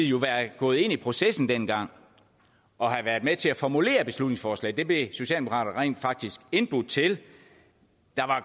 jo være gået ind i processen dengang og have været med til at formulere beslutningsforslaget det blev socialdemokraterne rent faktisk indbudt til der var